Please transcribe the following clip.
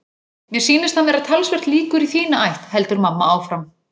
Mér sýnist hann vera talsvert líkur í þína ætt, heldur mamma áfram.